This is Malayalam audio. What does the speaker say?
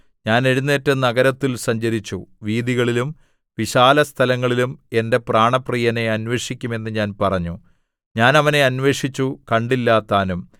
ഞാൻ എഴുന്നേറ്റ് നഗരത്തിൽ സഞ്ചരിച്ചു വീഥികളിലും വിശാലസ്ഥലങ്ങളിലും എന്റെ പ്രാണപ്രിയനെ അന്വേഷിക്കും എന്ന് ഞാൻ പറഞ്ഞു ഞാൻ അവനെ അന്വേഷിച്ചു കണ്ടില്ലതാനും